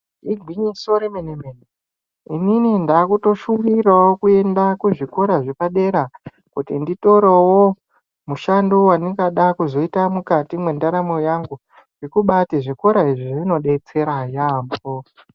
Igwinyiso remene mene inini ndakutoshuvirawo kuenda kuzvikora zvepadera kuti nditorewo mushando wandingada kuzoita mukati mwendaramo yangu. Ngekubati zvikora izvi zvinodetsera yaamho.